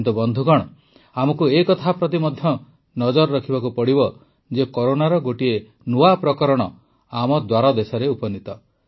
କିନ୍ତୁ ବନ୍ଧୁଗଣ ଆମକୁ ଏ କଥା ପ୍ରତି ମଧ୍ୟ ନଜର ରଖିବାକୁ ପଡ଼ିବ ଯେ କରୋନାର ଗୋଟିଏ ନୂଆ ଭାରିଏଣ୍ଟ ଆମ ଦ୍ୱାରଦେଶରେ ଉପନୀତ